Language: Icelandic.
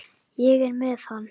Ég er með hann.